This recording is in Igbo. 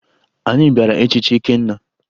Anyị bịara echichi Ikenna